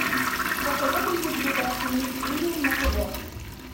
посоветуй мне передачу мир премиум на тв